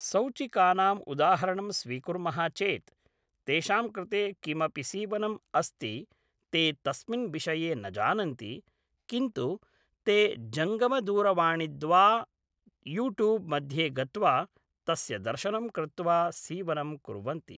सौचिकानाम् उदाहरणं स्वीकुर्मः चेत् तेषां कृते किमपि सीवनम् अस्ति ते तस्मिन् विषये न जानन्ति किन्तु ते जङ्गमदूरवाणिद्वा यूट्यूब् मध्ये गत्वा तस्य दर्शनं कृत्वा सीवनं कुर्वन्ति